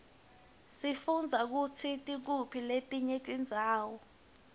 sifundza kutsi tikuphi letinye tindzawo